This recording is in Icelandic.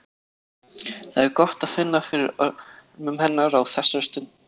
Það er gott að finna fyrir örmum hennar á þessari stundu.